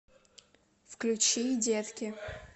включи детки